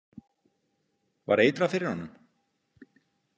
Var eitrað fyrir honum?